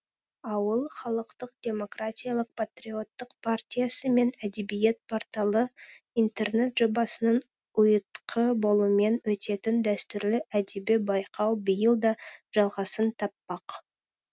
ауыл халықтық демократиялық патриоттық партиясы мен әдебиет порталы интернет жобасының ұйытқы болуымен өтетін дәстүрлі әдеби байқау биыл да жалғасын таппақ